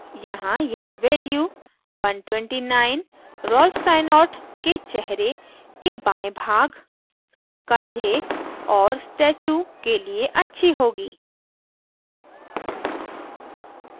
यहाँ यह value 129 Rolf Steinort के चेहरे के बाये भाग कंधे और statue के लिए अच्छी होगी